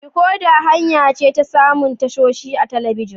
Dekoda hanya ce ta samun tashoshi a talabijin.